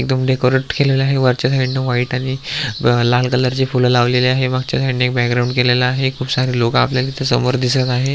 एकदम डेकोरेट केलेल आहे वरच्या साईड व्हाइट आणि लाल कलरची फुल लावलेली आहे मागच्या साईड एक बॅगग्राउंड केलेला आहे खुप सारे लोक आपल्याला इथ समोर दिसत आहे.